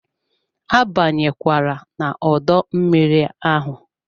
Abanye kwala n'odo mmiri ahụ!